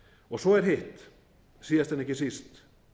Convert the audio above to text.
og svo er hitt síðast en ekki síst